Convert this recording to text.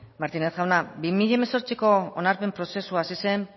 martínez jauna bi mila hemezortziko onarpen prozesua hasi zen